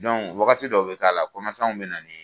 wagati dɔw be k'a la be na ni